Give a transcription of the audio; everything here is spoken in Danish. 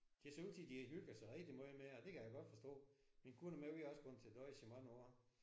Det ser ud til de hygger sig rigtig meget med det det kan jeg godt forstå. Min kone og mig vi har også gået til dåjs i rigtig mange år